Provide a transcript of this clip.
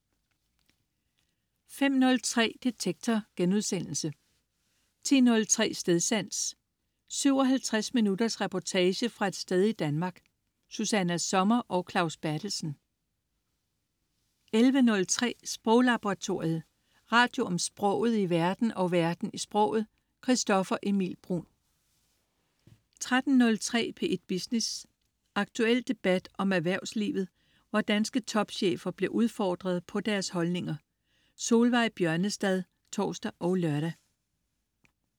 05.03 Detektor* 10.03 Stedsans. 57 minutters reportage fra et sted i Danmark. Susanna Sommer og Claus Berthelsen 11.03 Sproglaboratoriet. Radio om sproget i verden og verden i sproget. Christoffer Emil Bruun 13.03 P1 Business. Aktuel debat om erhvervslivet, hvor danske topchefer bliver udfordret på deres holdninger. Solveig Bjørnestad (tors og lør)